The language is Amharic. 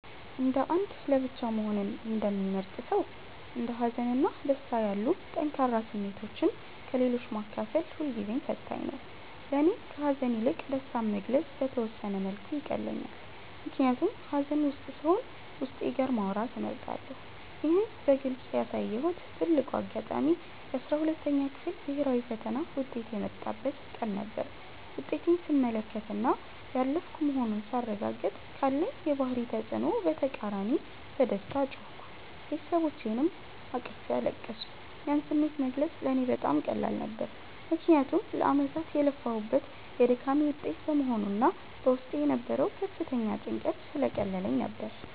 እንደ አንድ ለብቻው መሆንን እንደሚመርጥ ሰው፣ እንደ ሀዘን እና ደስታ ያሉ ጠንካራ ስሜቶችን ለሌሎች ማካፈል ሁልጊዜም ፈታኝ ነው። ለእኔ ከሐዘን ይልቅ ደስታን መግለጽ በተወሰነ መልኩ ይቀለኛል፤ ምክንያቱም ሐዘን ውስጥ ስሆን ዉስጤ ጋር ማውራትን እመርጣለሁ። ይህን በግልጽ ያሳየሁበት ትልቁ አጋጣሚ የ12ኛ ክፍል ብሔራዊ ፈተና ውጤት የመጣበት ቀን ነበር። ውጤቴን ስመለከትና ያለፍኩ መሆኑን ሳረጋግጥ፤ ካለኝ የባህሪ ተጽዕኖ በተቃራኒ በደስታ ጮህኩ፤ ቤተሰቦቼንም አቅፌ አለቀስኩ። ያን ስሜት መግለጽ ለእኔ በጣም ቀላል ነበር፤ ምክንያቱም ለዓመታት የለፋሁበት የድካሜ ውጤት በመሆኑና በውስጤ የነበረው ከፍተኛ ጭንቀት ስለቀለለልኝ ነበር።